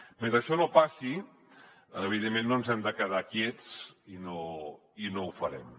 mentre això no passi evidentment no ens hem de quedar quiets i no ho farem